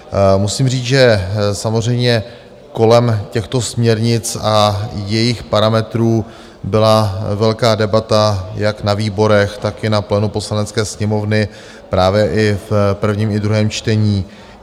Musím říct, že samozřejmě kolem těchto směrnic a jejich parametrů byla velká debata jak na výborech, tak i na plénu Poslanecké sněmovny, právě i v prvním i druhém čtení.